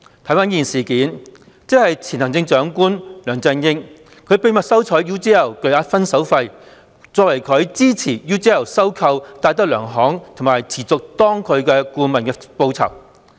回顧此事，即前行政長官梁振英秘密收取 UGL 巨額"分手費"作為他之前協助 UGL 收購戴德梁行和持續擔任該公司的顧問的報酬。